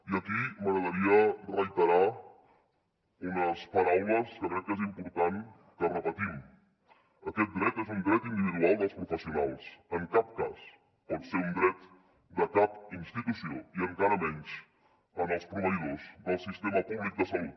i aquí m’agradaria reiterar unes paraules que crec que és important que repetim aquest dret és un dret individual dels professionals en cap cas pot ser un dret de cap institució i encara menys dels proveïdors del sistema públic de salut